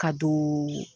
Ka don